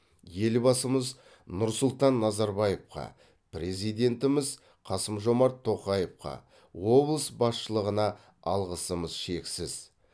елбасымыз нұрсұлтан назарбаевқа президентіміз қасымжомарт тоқаевқа облыс басшылығына алғысымыз шексіз